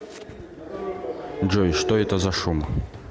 джой что это за шум